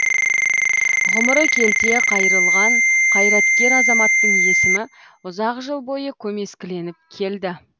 ғұмыры келте қайырылған қайраткер азаматтың есімі ұзақ жыл бойы көмескіленіп келді